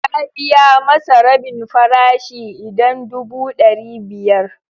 Ya biya masa rabin farashi idan dubu ɗari biyar.